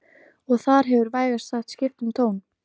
Og þar hefur vægast sagt skipt um tón